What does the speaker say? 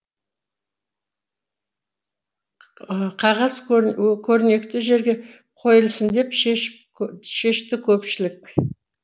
қағаз көрнекті жерге қойылсын деп шешті көпшілік